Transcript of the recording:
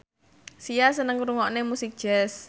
Sia seneng ngrungokne musik jazz